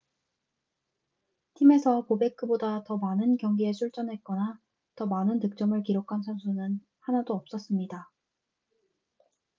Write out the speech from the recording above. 팀에서 보베크보다 더 많은 경기에 출전했거나 더 많은 득점을 기록한 선수는 하나도 없었습니다